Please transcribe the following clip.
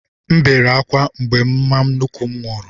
M bere ákwá mgbe mama nnukwu m nwụrụ